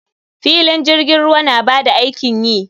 Filin jirgin ruwa na ba da aikin yi.